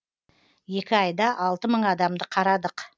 екі айда алты мың адамды қарадық